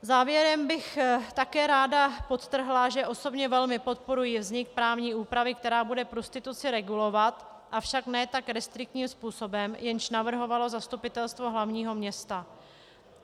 Závěrem bych také ráda podtrhla, že osobně velmi podporuji vznik právní úpravy, která bude prostituci regulovat, avšak ne tak restriktním způsobem, jejž navrhovalo zastupitelstvo hlavního města.